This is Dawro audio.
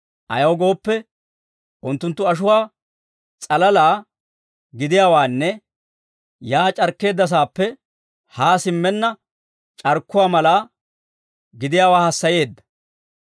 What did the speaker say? Ayaw gooppe, unttunttu ashuwaa s'alala gidiyaawaanne yaa c'arkkeeddasaappe haa simmenna, c'arkkuwaa mala gidiyaawaa hassayeedda.